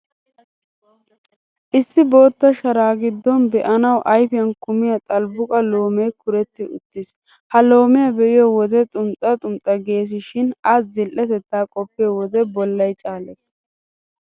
Issi bootta shara giddon be'anawu ayfiyan kumiyaa xalbbuqa loomee kuuretti uttiis. Ha loomiyaa be'iyo wode xunxxa xumxxa geesishin,A zil''ettaa qoppiyo wode bollay caalees.